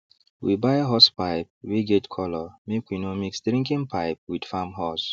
we buy hosepipe wey get colour make we no mix drinking pipe with farm hose